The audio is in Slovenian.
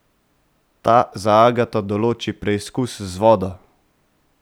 Ta za Agato določi preizkus z vodo.